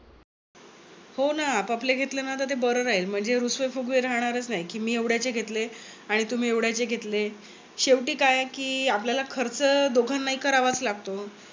हो ना. आपापले घेतले ना ते बर राहील. म्हणजे रुसवे फुगवे राहणारच नाही कि मी एवड्याचे घेतले आणि तुम्ही एवढ्याचे घेतले. शेवटी काय आहे कि आपल्याला खर्च दोघांना हि करावाच लागतो.